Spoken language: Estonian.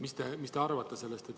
Mis te sellest arvate?